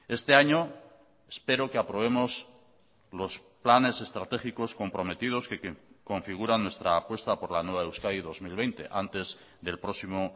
este año espero que aprobemos los planes estratégicos comprometidos que configuran nuestra apuesta por la nueva euskadi dos mil veinte antes del próximo